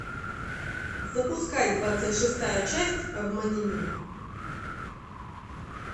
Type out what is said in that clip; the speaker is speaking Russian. запускай двадцать шестая часть обмани меня